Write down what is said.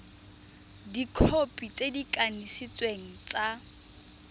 dikhopi tse di kanisitsweng tsa